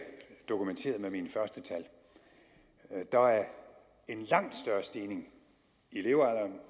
dokumenterede med mine første tal der er en langt større stigning i levealderen